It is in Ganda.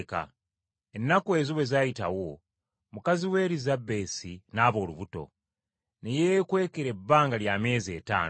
Ennaku ezo bwe zaayitawo, mukazi we Erisabesi n’aba olubuto, ne yeekwekera ebbanga lya myezi etaano.